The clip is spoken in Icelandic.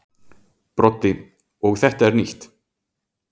Broddi: Og þetta er nýtt.